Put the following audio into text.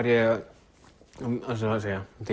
ég